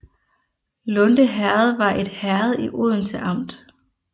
Lunde Herred var et herred i Odense Amt